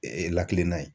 lakana ye